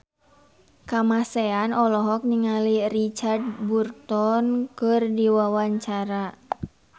Kamasean olohok ningali Richard Burton keur diwawancara